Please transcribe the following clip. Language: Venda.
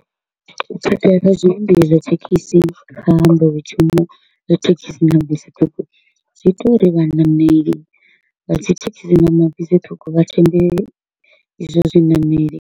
U ha zwi zwa thekhisi kha nḓowetshumo ya thekhisi na bisi ṱhukhu, zwi ita uri vhanameli vha dzithekhisi na mabisi ṱhukhu vha thembe izwo zwinameli.